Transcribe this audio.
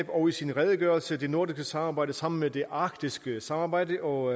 og i sin redegørelse det nordiske samarbejde sammen med det arktiske samarbejde og